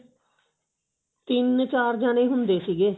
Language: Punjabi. ਤਿੰਨ ਚਾਰ ਜਾਣੇ ਹੁੰਦੇ ਸੀਗੇ